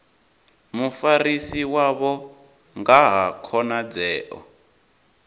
mufarisi wavho nga ha khonadzeo